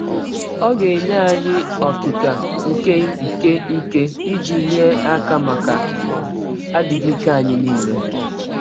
Ọ ga - enye anyị “ ọkịka nke nke ike ” iji nye aka maka adịghị ike anyị nile.